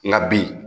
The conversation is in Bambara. Nka bi